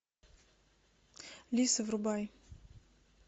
лиса врубай